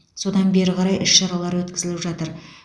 содан бері қарай іс шаралар өткізіліп жатыр